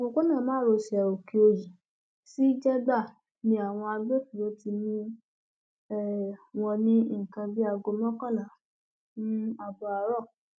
òpópónà márosẹ òkèòyí sí jẹgba ni àwọn agbófinró ti mú um wọn ní nǹkan bíi aago mọkànlá um ààbọ àárọ